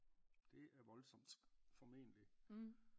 Det er voldsomt formentligt